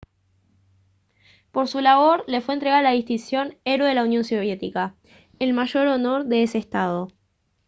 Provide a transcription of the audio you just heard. por su labor le fue entregada la distinción «héroe de la unión soviética» el mayor honor de ese estado